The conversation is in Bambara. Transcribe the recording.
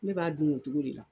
Ne b'a dun o cogo de la.